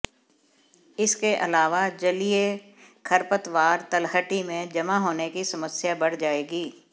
इसके अलावा जलीय खरपतवार तलहटी में जमा होने की समस्या बढ़ जाएगी